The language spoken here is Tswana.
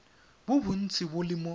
bo bontsi bo le mo